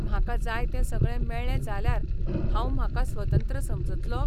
म्हाका जाय तें सगळे मेळ्ळें जाल्यार हांव म्हाका स्वतंत्र समजतलों?